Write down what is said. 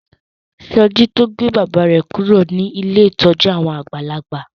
Soji to gbé bàbá rẹ kúrò ní Ilé ìtọjú àwọn àgbàlagbà